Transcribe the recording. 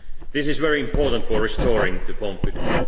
This is very important for restoring confidence.